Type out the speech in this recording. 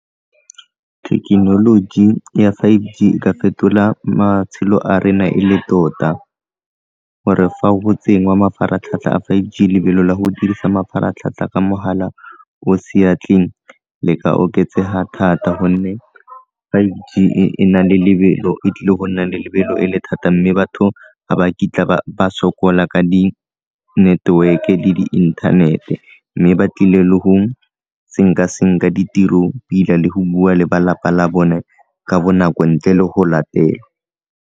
Thekenoloji ya five G e ka fetola matshelo a rena e le tota gore fa go tsengwa mafaratlhatlha a five G lebelo la go dirisa mafaratlhatlha ka mogala o seatleng le ka oketsega thata, gonne five G e na le lebelo, e tlile go nna le lebelo e le thata mme batho ga ba kitla ba sokola ka di network le inthanete mme ba tlile le go senka-senka ditiro pila le go bua le balapa la bone ka bonako ntle le go latelwa.